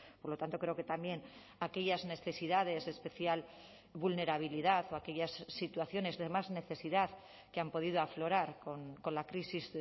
por lo tanto creo que también aquellas necesidades de especial vulnerabilidad o aquellas situaciones de más necesidad que han podido aflorar con la crisis